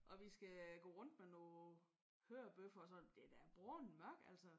Og vi skal gå rundt med nogle hørebøffer og sådan. Det er da bragende mørkt altså